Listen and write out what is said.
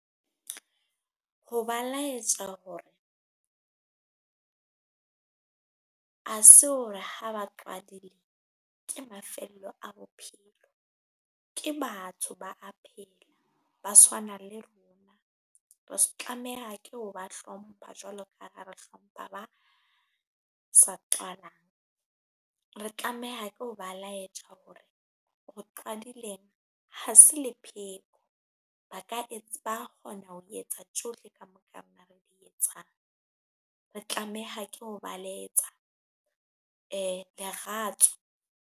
Ho ba laetja hore ha se hore ha ba ke mafello a bophelo, ke batho ba a phela, ba tshwana le rona. Re tlameha ke o ba hlompha jwalo ka ha re hlompha ba sa qalang, re tlameha ke ho ba laetja hore ho qadileng ha se le pheko ba ka ba kgona ho etsa tjohle ka moka rena re di etsang, re tlameha ke ho ba laetja leratso.